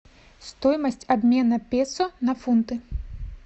стоимость обмена песо на фунты